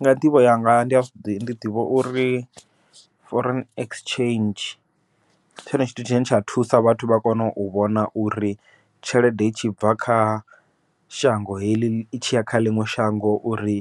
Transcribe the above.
Nga nḓivho yanga ndi a zwiḓivha ndi ḓivha uri foreign exchange, ndi tshone tshithu tshine tsha thusa vhathu uri vha kone u vhona uri tshelede i tshi bva kha shango heḽi itshiya kha ḽiṅwe shango uri